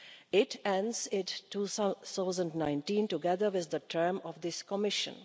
It ends in 2019, together with the term of this Commission.